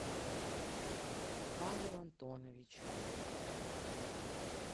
павел антонович